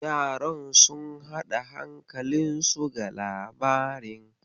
Yaran sun haɗa hankalinsu ga labarin.